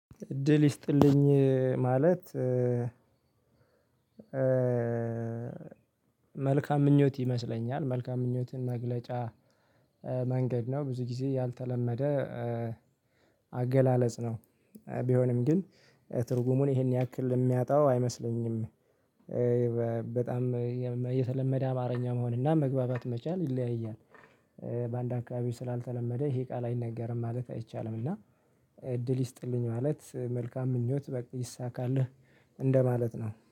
እድል ይስጥልኝ ማለት መልካም ምኞት ይመስለኛል መልካም ምኞትን መግለጫ መንገድ ነው ብዙ ጊዜ ያልተለመደ አገላለጽ ነው ቢሆንም ግን ትርጉሙን ይሄን ያክል የሚያጣው አይመስለኝም። በጣም የተለመደ አማርኛ መሆን እና መግባባት መቻል ይለያያል። በአንድ አካባቢው ስላልተለመደ ይሄ ቃል አይነገርም ማለት አይቻልም። እና እድል ይስጥልኝ ማለት መልካም ምኞት በቃ ይሳካልህ እንደማለት ነው